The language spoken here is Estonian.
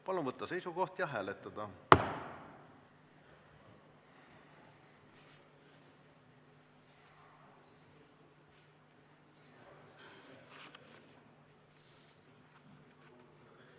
Palun võtta seisukoht ja hääletada!